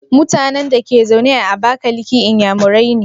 MutAnan Dake zaune a abakaliki inyamurai ne?